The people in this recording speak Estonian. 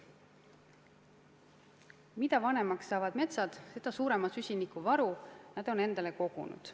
Mida vanemaks saavad metsad, seda suurema süsinikuvaru nad on endasse kogunud.